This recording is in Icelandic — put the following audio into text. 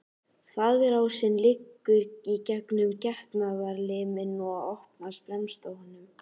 Þvagrásin liggur í gegnum getnaðarliminn og opnast fremst á honum.